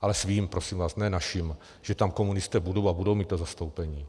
ale svým, prosím vás, ne našim, že tam komunisté budou a budou mít to zastoupení.